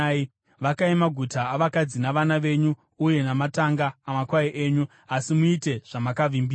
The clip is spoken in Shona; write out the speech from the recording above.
Vakai maguta avakadzi navana venyu, uye matanga amakwai enyu, asi muite zvamakavimbisa.”